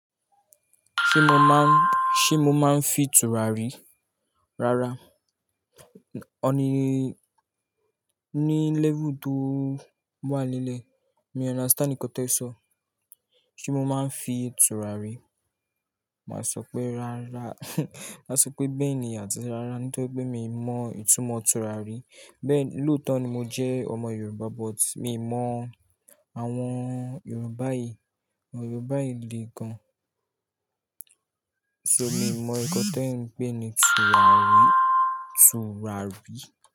Ṣé mo máa ń, ṣé mo máa ń fi tùràrí? Rárá. Òní, ní level tó wà lálẹ́, mi o understand nkan te ń sọ. Ṣé mo máa ń fi tùràrí? Màá sọ pé rárá. Màá sọ pé bẹ́ẹ̀ni àti rárá, torípé mi mọ ìtumọ̀ tùràrí. Bẹ́ẹ̀ni, lóòótọ́ ni mo jẹ́ ọmọ Yorùbá but mi mọ àwọn Yorùbá yìí, àwọn Yorùbá yìí le gan. So mi mọ nkan ti e ń pè ní tùràrí, tùràrí.